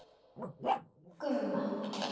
Og Gumma.